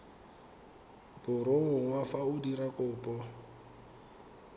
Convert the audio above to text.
borongwa fa o dira kopo